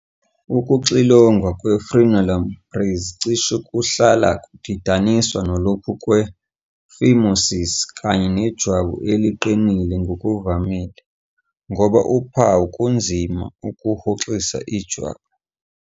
Ukuxilongwa kwe-frenulum breve cishe kuhlala kudidaniswa nalokho kwe-phimosis kanye nejwabu eliqinile ngokuvamile, ngoba uphawu kunzima ukuhoxisa ijwabu.